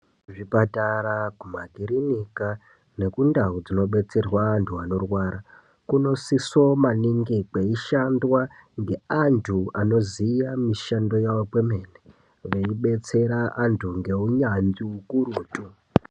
Kuzvipatara, kumakirinika nekundau dzinobetserwa antu anorarwara, kunosiso maningi kweishandwa ngeantu anoziya mishando yavo kwomene veibetsera antu ngeunyanzvi hukurutu.